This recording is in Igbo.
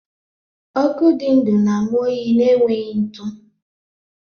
Ọkụ dị ndụ na-amụ oyi na-enweghị ntụ